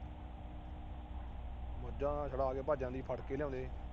ਮੱਝਾਂ ਛੱਡਾ ਕੇ ਭੱਜ ਜਾਂਦੀ। ਫੜ ਕੇ ਲਿਆਉਂਦੇ।